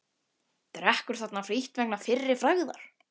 Drekkur þarna frítt vegna fyrri frægðar.